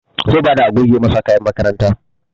Zai bada a goge masa kayan makaranta